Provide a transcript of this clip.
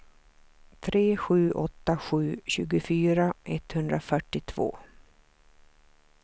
tre sju åtta sju tjugofyra etthundrafyrtiotvå